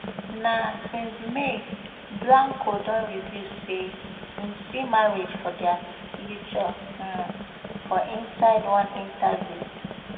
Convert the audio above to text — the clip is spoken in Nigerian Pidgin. na since may blanco don reveal say im see marriage for dia future um for inside one interview